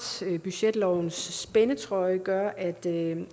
budgetlovens spændetrøje gør at det